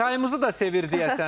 Çayımızı da sevir deyəsən.